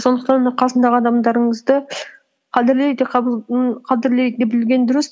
сондықтан да қасыңдағы адамдарыңызды қадірлей де қадірлей де білген дұрыс